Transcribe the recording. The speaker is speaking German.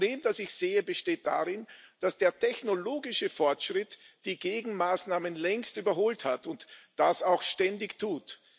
Das Problem, das ich sehe, besteht darin, dass der technologische Fortschritt die Gegenmaßnahmen längst überholt hat und das auch ständig tut.